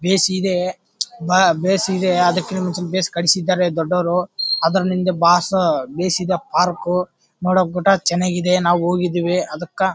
Base ಇದೆ ಬಾ ಬೇಸ್ ಇದೆ ಅದಕಿನಮುಂಚೆ ಬೇಸ್ ಕಟ್ಟಸಿದರೆ ದೊಡ್ಡವರು ಅದ್ರಿಂದ ಬಾಸ ಬೇಸಿದ ಪಾರ್ಕ್ ನೋಡಕ್ ಗೂಟ ಚನ್ನಾಗಿದೆ ನಾವು ಹೋಗಿದೀವಿ ಅದಕ್ .